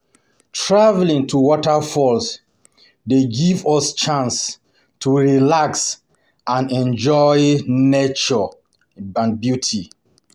Traveling to waterfalls dey give us chance to relax and enjoy nature beauty.